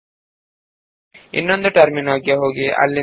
ಈಗ ನಾವು ಇನ್ನೊಂದು ಟರ್ಮಿನಲ್ ನ್ನು ಓಪನ್ ಮಾಡೋಣ